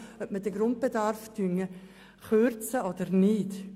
Es wird um die Frage gehen, ob wir den Grundbedarf kürzen oder nicht.